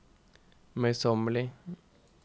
møysommelig